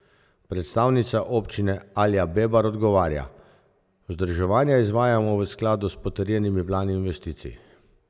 Predstavnica občine Alja Bebar odgovarja: "Vzdrževanja izvajamo v skladu s potrjenimi plani investicij.